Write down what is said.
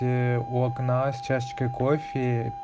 у окна с чашечкой кофе